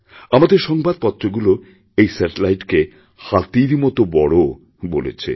আমাদেরসংবাদপত্রগুলো এই স্যাটেলাইটকে হাতির মত বড় বলেছে